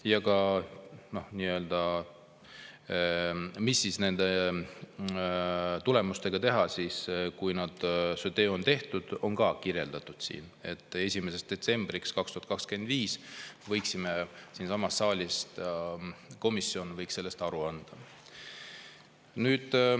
Ja ka see, mis nende tulemustega teha, kui see töö on tehtud, on siin kirjas: 1. detsembriks 2025 võiks komisjon siinsamas saalis sellest aru anda.